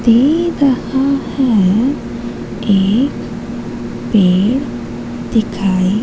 दे रहा है एक पेड़ दिखाई--